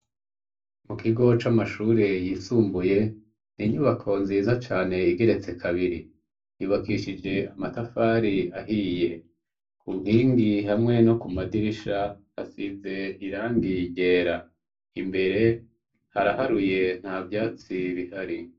Mu kigo c'amashure yisumbuye ni inyubako nziza cane igeretse kabiri yubakishije amatafari ahiye ku nkingi hamwe no ku madirisha hasize irangiyegera imbere haraharuye nka vyatsi bihari.